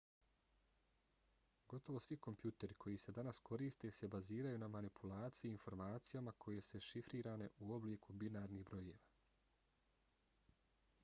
gotovo svi kompjuteri koji se danas koriste se baziraju na manipulaciji informacijama koje su šifrirane u obliku binarnih brojeva